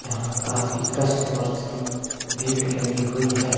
यहां काफी कस्टमर्स की भीड़ लगी हुई है।